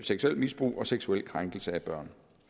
seksuelt misbrug og seksuel krænkelse af børn